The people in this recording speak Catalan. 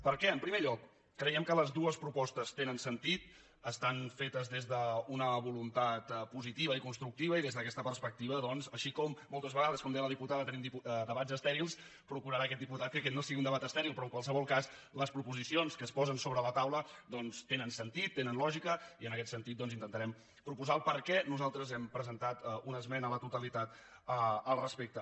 per què en primer lloc creiem que les dues propostes tenen sentit estan fetes des d’una voluntat positiva i constructiva i des d’aquesta perspectiva doncs així com moltes vegades com deia la diputada tenim debats estèrils procurarà aquest diputat que aquest no sigui un debat estèril però en qualsevol cas les proposicions que es posen sobre la taula doncs tenen sentit tenen lògica i en aquest sentit intentarem proposar per què nosaltres hem presentat una esmena a la totalitat al respecte